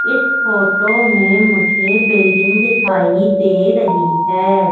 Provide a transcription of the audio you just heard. इस फोटो में मुझे बिल्डिंग दिखाई दे रहीं हैं।